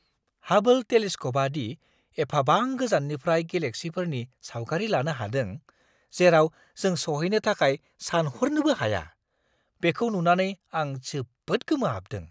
हाबोल टेलिस्क'पआ दि एफाबां गोजाननिफ्राय गेलेक्सिफोरनि सावगारि लानो हादों, जेराव जों सौहैनो थाखाय सानहरनोबो हाया, बेखौ नुनानै आं जोबोद गोमोहाबदों!